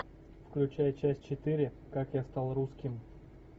включай часть четыре как я стал русским